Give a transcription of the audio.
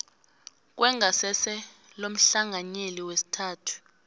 kwengasese lomhlanganyeli wesithathu